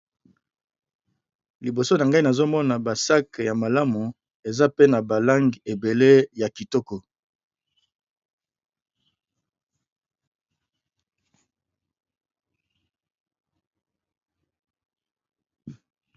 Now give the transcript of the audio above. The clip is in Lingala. liboso na ngai nazomona basak ya malamu eza pe na balange ebele ya kitoko